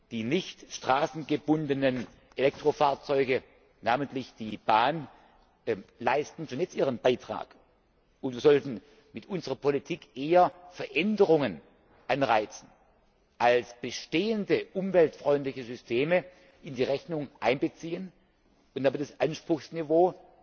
Die nicht straßengebundenen Elektrofahrzeuge namentlich die Bahn leisten schon jetzt ihren Beitrag, und wir sollten mit unserer Politik eher Veränderung anstoßen als bestehende umweltfreundliche Systeme in die Rechnung einbeziehen und damit das Anspruchsniveau